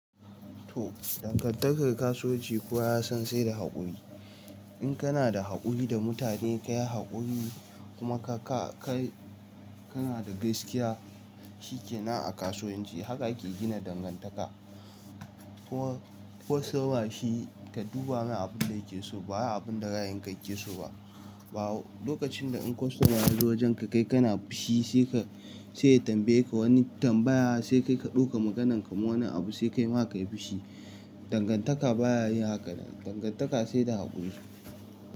To, dangantakar kasuwanci kuwa ya san sai da haƙuri. In kana da haƙuri da mutane kayi haƙuri kuma ka-ka-kai kana da gaskiya, shikenan a kasuwanci. Haka ake gina dangantaka. Kostoma shi ka duba mai abin da yake so bawai abunda ra'ayin ka yake so ba. Lokacin da in kostoma yazo wajenka kai kana fushi sai ka sai ya tambaye ka wani tambaya sai kai ka ɗauka maganan ka ma wani abu sai ka yi ma kai fushi. Dangantaka baya yin haka. Dangantaka sai da haƙuri.